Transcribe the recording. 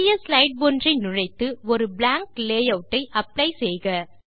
புதிய ஸ்லைடு ஒன்றை நுழைத்து ஒரு பிளாங்க் லேயூட் ஐ அப்ளை செய்க